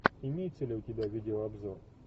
имеется ли у тебя видеообзор